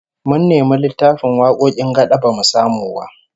Mun nemi littafin wakokin gad'a bamu samu ba